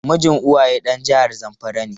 Mijin Uwaye dan jihar zamfara ne.